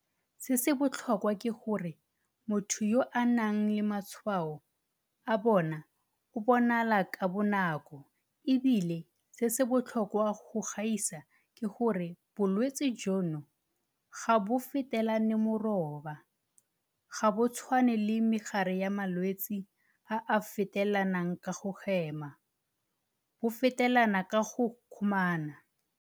Se se botlhokwa ke gore motho yo a nang le matshwao a bona o bonagala ka bonako e bile se se botlhokwa go gaisa ke gore bolwetse jono ga bo fetelane moroba, ga bo tshwane le megare ya malwetse a a fetelanang ka go hema, bo fetelana ka go kgomana.